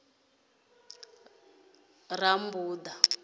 rammbuḓa